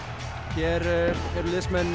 hér eru liðsmenn